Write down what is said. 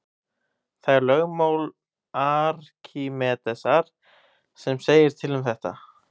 Það er lögmál Arkímedesar sem segir til um þetta.